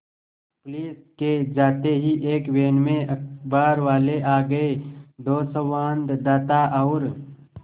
police के जाते ही एक वैन में अखबारवाले आ गए दो संवाददाता और